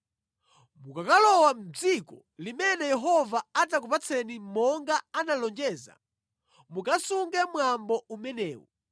Mukakalowa mʼdziko limene Yehova adzakupatseni monga analonjeza, mukasunge mwambo umenewu.